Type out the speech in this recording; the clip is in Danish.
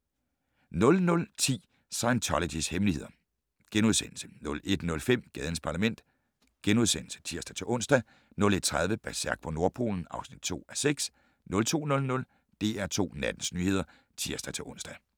00:10: Scientologys hemmeligheder * 01:05: Gadens Parlament *(tir-ons) 01:30: Berserk på Nordpolen (2:6) 02:00: DR2 Nattens nyheder (tir-ons)